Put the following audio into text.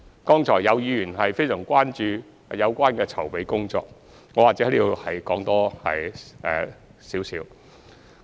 剛才有議員非常關注有關的籌備工作，我或者在此再說一點。